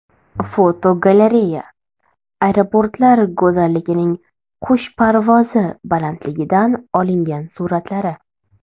Fotogalereya: Aeroportlar go‘zalligining qush parvozi balandligidan olingan suratlari.